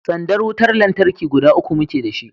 sandar wutar lantarki guda uku muke da shi